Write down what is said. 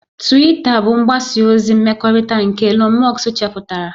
Twita bụ mgbasa ozi mmekọrịta nke Elon musk chepụtara